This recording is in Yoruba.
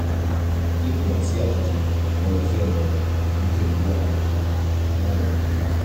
bí kò bá sí àtúnṣe jọ̀wọ́ lọ sọ́dọ̀ oníṣègùn tó wà ládùúgbò rẹ fún àyẹ̀wò kíkún